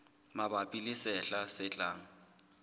mabapi le sehla se tlang